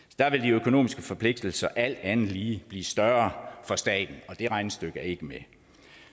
økonomiske forpligtelser alt andet lige blive større for staten og det regnestykke er ikke med